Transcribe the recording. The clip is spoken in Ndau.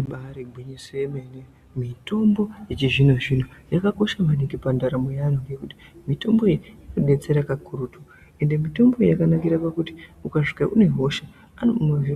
Ibari gwinyiso remene mitombo yechizvinozvino yakakosha maningi pandaramo yevantu nekuti mitombo iyi inodetsera kakurutu ende mitombo iyi yakanakira pakuti ukasvika une hosha